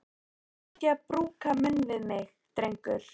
Vertu ekki að brúka munn við mig, drengur!